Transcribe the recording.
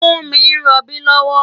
Funmi n ròbí lòwò